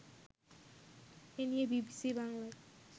এ নিয়ে বিবিসি বাংলার